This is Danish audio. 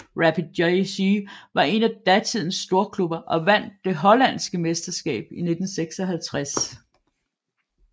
Rapid JC var en af datidens storklubber og vandt det hollandske mesterskab i 1956